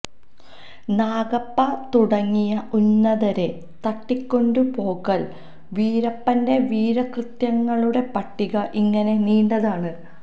നാഗപ്പ തുടങ്ങിയ ഉന്നതരെ തട്ടിക്കൊണ്ടുപോകൽ വീരപ്പന്റെ വീരകൃത്യങ്ങളുടെ പട്ടിക ഇങ്ങനെ നീണ്ടതാണ്